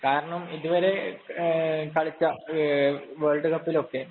കാരണം ഇതുവരെ കളിച്ച വേള്‍ഡ് കപ്പിലൊക്കെ